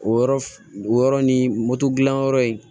O yɔrɔ o yɔrɔ ni moto dilan yɔrɔ in